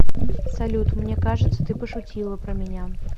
салют мне кажется ты пошутила про меня